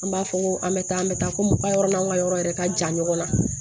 An b'a fɔ ko an bɛ taa an bɛ taa ko muka yɔrɔ n'an ka yɔrɔ yɛrɛ ka jan ɲɔgɔn na